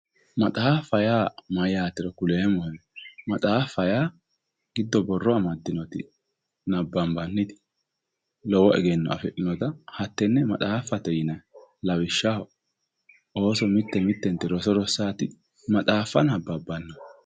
maxaafa yaa mayaatero kuleemohe maxaafa yaa giddo borro amadinote nabanbanite lowo egenno afixinota hatenne maxaafate yinanni lawishshaho ooso mite mittenti roso rosaati maxaafa anababanno